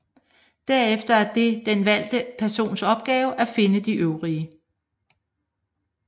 Derefter er det den valgte persons opgave at finde de øvrige